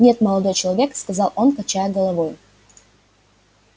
нет молодой человек сказал он качая головою